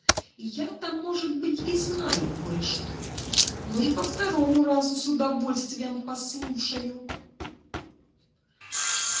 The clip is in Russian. я-то может быть и знаю кое-что но и по второму разу с удовольствием послушаю